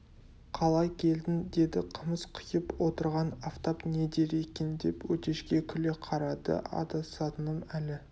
қалай келдің деді қымыз құйып отырған афтап не дер екен деп өтешке күле қарады адасатыным әлі